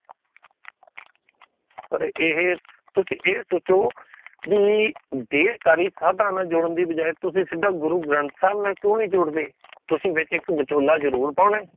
ਰ ਏਹੇ ਤੁਸੀ ਇਹ ਸੋਚੋ ਵੀ, ਢੇਰ ਸਾਰੀ ਸਾਧਾ ਨਾਲ ਜੁੜਣ ਦੀ ਬਜਾਏ ਤੁਸੀ ਸਿੱਧਾ ਗੁਰੂ ਗ੍ਰੰਥ ਸਾਹਿਬ ਨਾਲ ਕਿਊ ਨਹੀਂ ਜੁੜਦੇ? ਤੁਸੀ ਵਿੱਚ ਇੱਕ ਵਿਚੋਲਾ ਜਰੂਰ ਪਾਣਾ ਹੈ।